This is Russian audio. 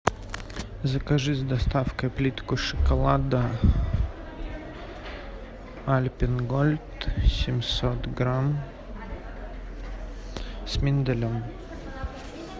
закажи с доставкой плитку шоколада альпен гольд семьсот грамм с миндалем